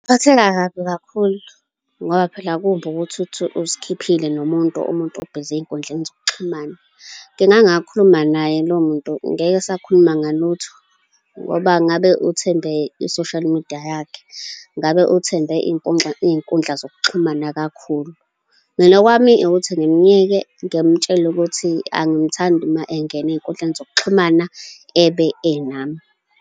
Ngingaphatheka kabi kakhulu, ngoba phela kumbi ukuthi uthi uzikhiphile nomuntu, umuntu ubhizi ey'nkundleni zokuxhumana. Ngingakhuluma naye lowo muntu. Ngeke sakhuluma ngalutho, ngoba ngabe uthembe i-social media yakhe. Ngabe uthembe iy'nkundla zokuxhumana kakhulu. Mina okwami ukuthi ngimyeke, ngimtshele ukuthi angimthandi uma engene ey'nkundleni zokuxhumana ebe enami.